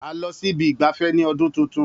A lọ sí ibi ìgbafẹ́ ní ọdún tuntun.